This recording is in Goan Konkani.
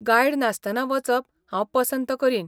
गायड नासतना वचप हांव पसंत करीन.